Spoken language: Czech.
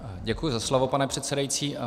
Děkuji za slovo, pane předsedající.